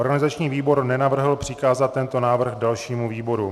Organizační výbor nenavrhl přikázat tento návrh dalšímu výboru.